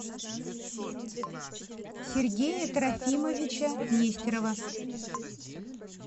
сергея трофимовича нестерова